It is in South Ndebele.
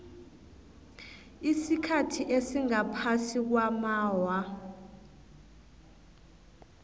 isikhathi esingaphasi kwamaawa